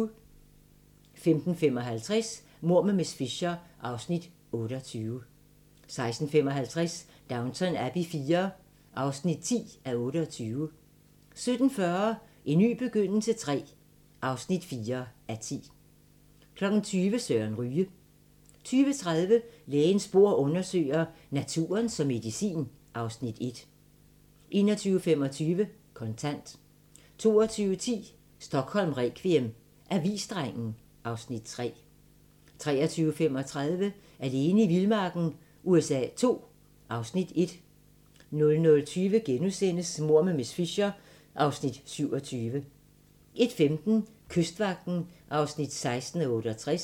15:55: Mord med miss Fisher (28:13) 16:55: Downton Abbey IV (10:28) 17:40: En ny begyndelse III (4:10) 20:00: Søren Ryge 20:30: Lægens bord undersøger: Naturen som medicin (Afs. 1) 21:25: Kontant 22:10: Stockholm requiem: Avisdrengen (Afs. 3) 23:35: Alene i vildmarken USA II (Afs. 1) 00:20: Mord med miss Fisher (27:13)* 01:15: Kystvagten (16:68)